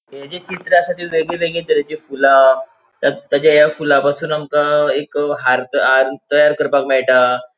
हे जे चित्र असा ते वेगवेगळे तरेचे फुला ता ताचे फुलापासून आमका एक हार हार तयार करपाक मेळटा.